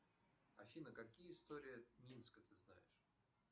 афина какие истории минска ты знаешь